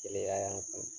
Keleya y'an kan